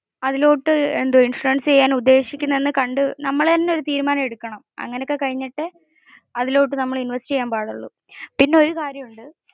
നമ്മൾ തന്നെ ഒരു തീരുമാനം എടുക്കണം. അങ്ങനെ ഒക്കെ കഴിഞ്ഞിട്ടേ അതിലോട്ട് നമ്മൾ invest ചെയ്യാൻ പാടുള്ളു. പിന്നെ ഒരു കാര്യം